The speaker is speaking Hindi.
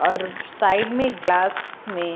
और साइड में ग्लास में--